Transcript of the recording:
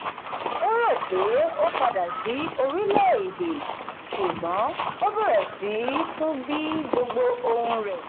ó rò pé ó padà sí orílẹ̀-èdè ṣùgbọ́n ó bẹ̀rẹ̀ sí tún bí gbogbo ohun rẹ̀.